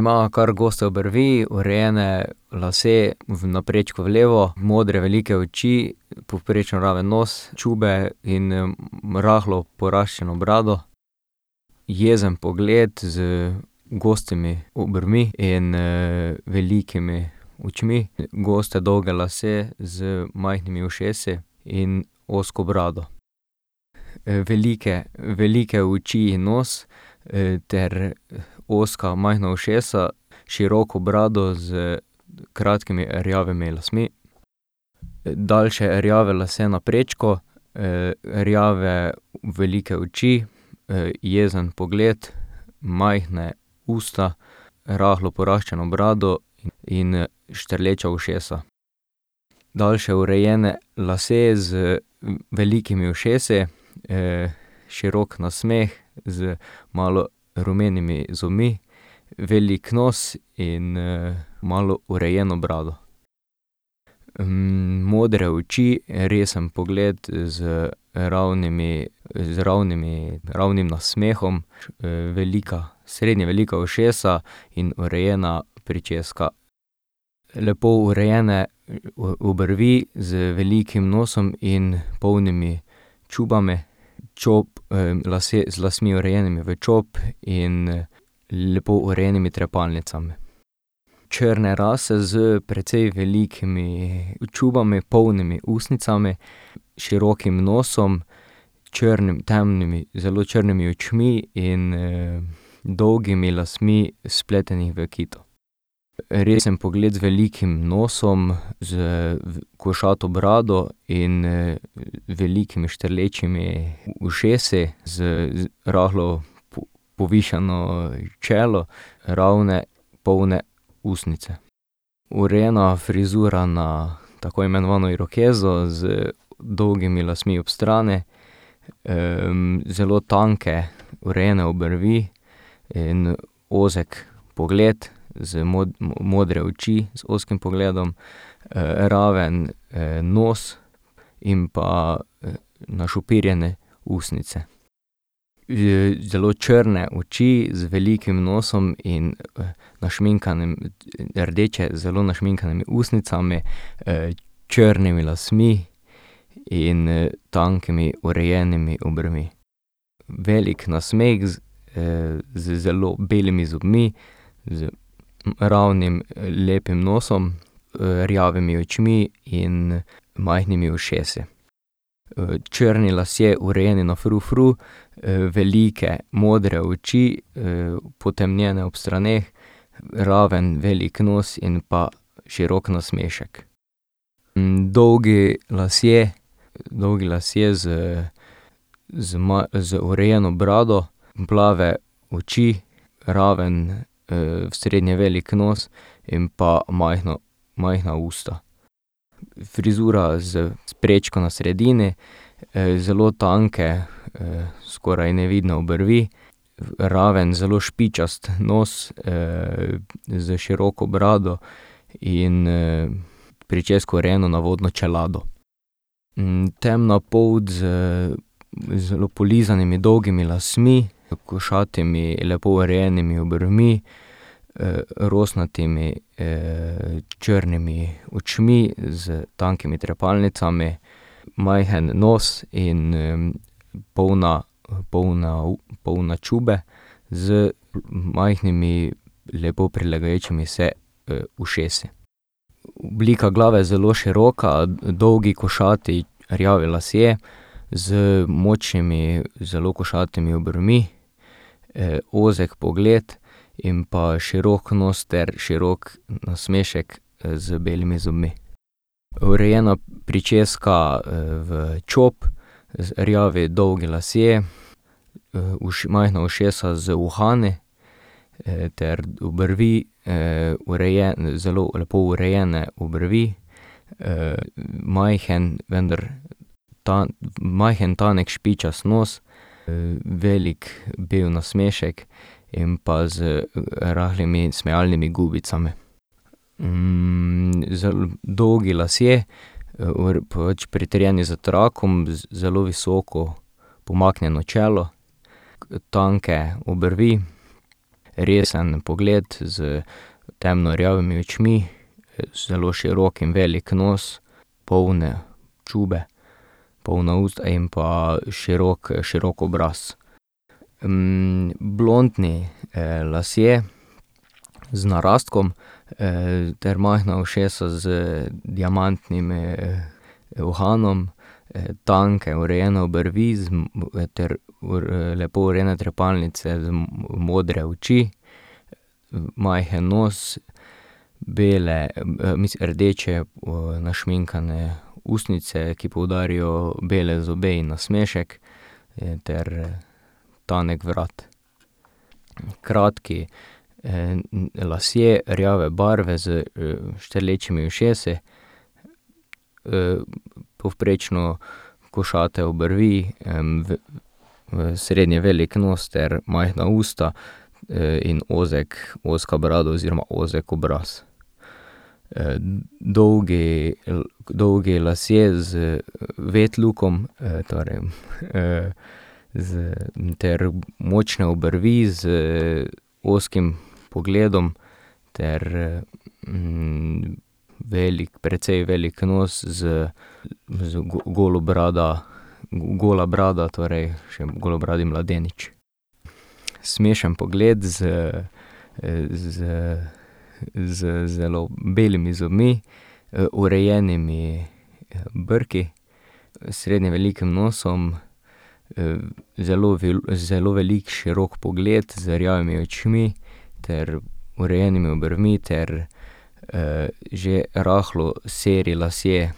Ima kar goste obrvi, urejene lase na prečko v levo, modre velike oči, povprečno raven nos, čobe in rahlo poraščeno brado, jezen pogled z gostimi obrvmi in, velikimi očmi, goste dolge lase z majhnimi ušesi in ozko brado. velike, velike oči in nos, ter ozka, majhna ušesa, široko brado s kratkimi rjavimi lasmi. Daljše rjave lase na prečko, rjave velike oči, jezen pogled, majhna usta, rahlo poraščeno brado in, štrleča ušesa. Daljše urejene lase z velikimi ušesi. širok nasmeh z malo rumenimi zobmi, velik nos in, malo urejeno brado. modre oči, resen pogled z ravnimi, z ravnimi, ravnim nasmehom. velika, srednje velika ušesa in urejena pričeska. Lepo urejene obrvi z velikim nosom in polnimi čobami. Čop, lase, z lasmi, urejenimi v čop in, lepo urejenimi trepalnicami. Črne rase s precej velikimi čobami, polnimi ustnicami, širokim nosom, črnimi, temnimi, zelo črnimi očmi in, dolgimi lasmi, spleteni v kito. resen pogled z velikim nosom, s košato brado in, velikimi, štrlečimi ušesi z rahlo povišano, čelo, ravne polne ustnice. Urejena frizura na tako imenovano irokezo z dolgimi lasmi ob strani, zelo tanke, urejene obrvi in, ozek pogled z modre oči z ozkim pogledom, raven, nos in pa, našopirjene ustnice. zelo črne oči z velikim nosom in našminkanem, rdeče, zelo našminkanimi ustnicami, črnimi lasmi in, tankimi, urejenimi obrvmi. Velik nasmeh z, z zelo belimi zobmi, z ravnim, lepim nosom, rjavimi očmi in majhnimi ušesi. Črni lasje, urejeni na frufru, velike modre oči, potemnjene ob straneh, raven velik nos in pa širok nasmešek. Dolgi lasje, dolgi lasje z z z urejeno brado, plave oči, raven, srednje velik nos in pa majhno, majhna usta. Frizura z, s prečko na sredini, zelo tanke, skoraj nevidne obrvi, raven, zelo špičast nos, s široko brado in, pričesko, urejeno na vodno čelado. temna polt z zelo polizanimi dolgimi lasmi, košatimi, lepo urejenimi obrvmi, rosnatimi, črnimi očmi s tankimi trepalnicami, majhen nos in, polna, polna polne čobe z majhnimi, lepo prilegajočimi se, ušesi. Oblika glave je zelo široka, dolgi košati rjavi lasje z močnimi, zelo košatimi obrvmi, ozek pogled in pa širok nos ter širok nasmešek, z belimi zobmi. Urejena pričeska, v čop, rjavi dolgi lasje, majhna ušesa z uhani, ter obrvi, zelo lepo urejene obrvi, majhen, vendar majhen, tanek, špičast nos, velik bel nasmešek in pa z rahlimi smejalnimi gubicami. dolgi lasje, pač pritrjeni s trakom, zelo visoko pomaknjeno čelo, tanke obrvi, resen pogled s temno rjavimi očmi, zelo širok in velik nos, polne čobe, polna usta in pa širok, širok obraz. blontni, lasje z narastkom, ter majhna ušesa z diamantnimi, uhanom, tanke, urejene obrvi z ter lepo urejene trepalnice, modre oči, majhen nos, bele, mislim, rdeče, našminkane ustnice, ki poudarijo bele zobe in nasmešek, ter, tanek vrat. Kratki, lasje rjave barve s, štrlečimi ušesi, povprečno košate obrvi, srednje velik nos ter majhna usta in ozek, ozka brada oziroma ozek obraz. dolgi, dolgi lasje z wet lookom, torej, z, ter močne obrvi z ozkim pogledom ter, velik, precej velik nos z z golobrada, gola brada torej, še golobradi mladenič. Smešen pogled z, z z zelo belimi zobmi, urejenimi brki, srednje velikim nosom, zelo zelo velik, širok pogled z rjavimi očmi ter urejenimi obrvmi ter, že rahlo seri lasje